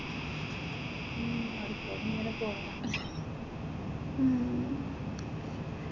ഉം പഠിപ്പ് ഒക്കെ ഇങ്ങനെ പോവണം ഉം